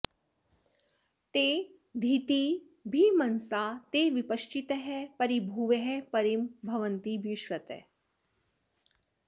ते धी॒तिभि॒र्मन॑सा॒ ते वि॑प॒श्चितः॑ परि॒भुवः॒ परि॑ भवन्ति वि॒श्वतः॑